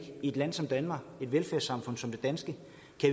et land som danmark i et velfærdssamfund som det danske